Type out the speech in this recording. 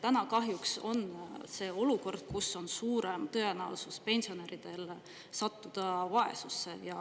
Täna kahjuks on see olukord, kus on suurem tõenäosus pensionäridel sattuda vaesusesse.